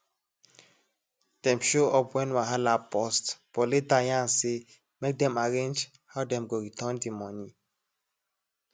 dem show up when wahala burst but later yarn say make dem arrange how dem go return the money